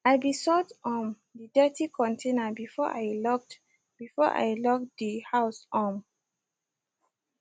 i be sort um de dirty container before i locked before i locked de house um